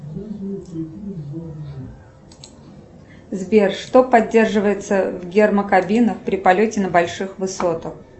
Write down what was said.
сбер что поддерживается в гермокабинах при полете на больших высотах